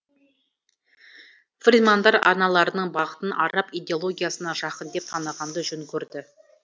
фридмандар арналарының бағытын араб идеологиясына жақын деп танығанды жөн көрді